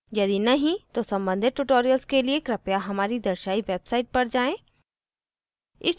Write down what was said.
यदि नहीं तो सम्बंधित tutorials के लिए कृपया हमारी दर्शायी website पर जाएँ